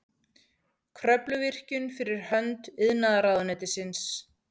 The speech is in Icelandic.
Kröfluvirkjun fyrir hönd iðnaðarráðuneytisins.